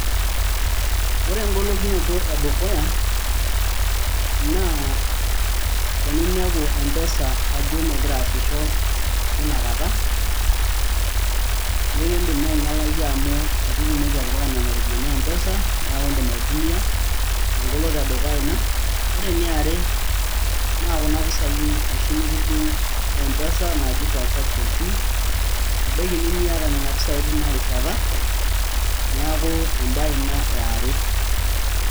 ore engolokinoto edukuya naa teninepu mpesa ajo megira aasisho tinakata nkiindim naa ainyialaki amu itu itumoki atipika nena ropiyiani mpesa neeku indim aitumia engoloto edukuya ina ore ene are naa kuna pisai oshi nikidung mpesa naji transaction fee ebaiki nemiata nena pisai tina rishata neeku embae ina e are.